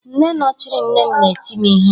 Nne nọchiri nne m na-eti m ihe